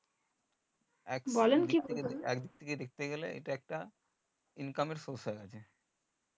একদিক থেকে দেখতে গেলে এটা একটা income এর source আরকি